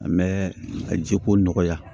An bɛ ka ji ko nɔgɔya